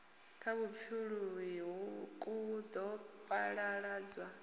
ya vhupfuluwi ku ḓo phaḓaladzwa